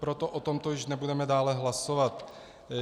Proto o tomto již nebudeme dále hlasovat.